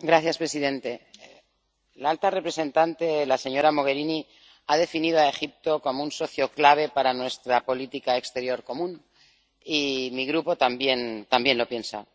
Señor presidente, la alta representante, señora Mogherini, ha definido a Egipto como un socio clave para nuestra política exterior común, y mi Grupo también piensa lo mismo